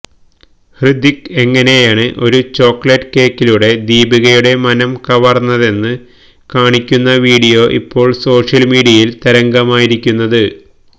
ഹൃതിക് എങ്ങനെയാണ് ഒരു ചോക്കലേറ്റ് കേക്കിലൂടെ ദീപികയുടെ മനം കവർന്നതെന്ന് കാണിക്കുന്ന വിഡിയോ ഇപ്പോൾ സോഷ്യൽ മീഡിയയിൽ തരംഗമായിരിക്കുന്നത്